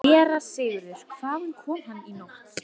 SÉRA SIGURÐUR: Hvaðan kom hann í nótt?